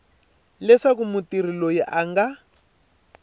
leswaku mutirhi loyi a nga